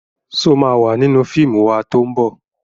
Ṣo ma wà nínú fíìmù wa tó ń bọ̀?